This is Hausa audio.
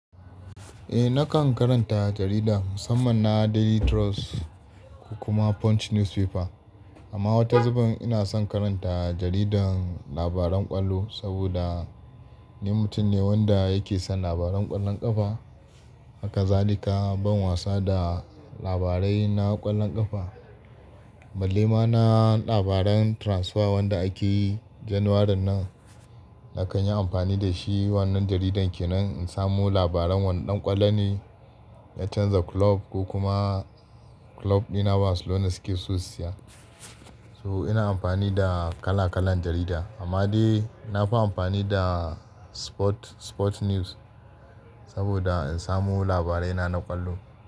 Eh nakan karanta jarida, musamman na Daily Trust kuma Punch Newspaper. Amma wata zuben ina son karanta jaridan labaran kwallo saboda ni mutum ne wanda yake son labaran ƙwallon ƙafa. Haka zalika ban wasa da labarai na ƙwallon ƙafa. Balle ma na labaran transfer wanda ake Janwaran nan, nakan yi amfani da shi wannan jaridan ke nan in samu labaran wane ɗan ƙwallo ne ya canza kulob ko kuma kulob ɗina Barcelona suke sosai. So ina amfani da kala-kalan jarida. Amma dai na fi amfani da sport, sport news saboda in samo labarai na ƙwallo.